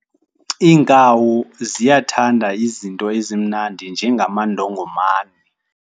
Iinkawu ziyathanda izinto ezimnandi njengamandongomane.